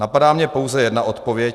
Napadá mě pouze jedna odpověď.